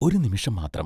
ഒരു നിമിഷം മാത്രം.